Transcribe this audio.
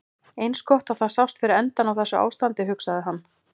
Eins gott að það sást fyrir endann á þessu ástandi, hugsaði hann.